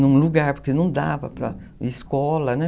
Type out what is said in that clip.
Num lugar, porque não dava para... Escola, né?